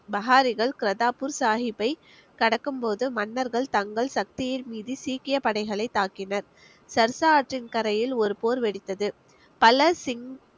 பஹாரிகள் கர்தார்பூர் சாஹிப்பை கடக்கும் போது மன்னர்கள் தங்கள் சக்தியை மீறி சீக்கிய படைகளைத் தாக்கினர் சர்சா ஆற்றின் கரையில் ஒரு போர் வெடித்தது